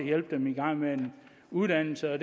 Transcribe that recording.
hjælpe dem i gang med en uddannelse jeg